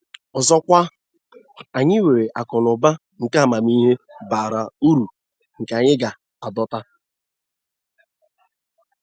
Ọzọkwa, anyị nwere akụ na ụba nke amamihe bara uru nke anyị ga-adọta.